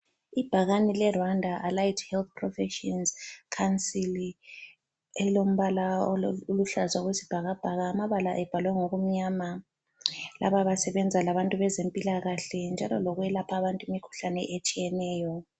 Ibhakane le Rwanda Allied Health Professions council elilombala oluhlaza okwesibhakabhaka, amabala ebhalwe ngokumnyama, laba basebenza labantu bezempilakahle njalo lokwelapha abantu imikhuhlane etshiyeneyo.